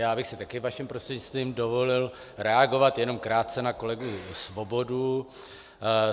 Já bych si také vaším prostřednictvím dovolil reagovat jenom krátce na kolegu Svobodu.